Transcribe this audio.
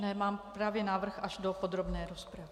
Mám právě návrh až do podrobné rozpravy.